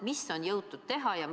Mida on jõutud teha?